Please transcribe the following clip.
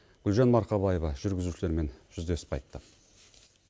гулжан марқабаева жүргізушілермен жүздесіп қайтты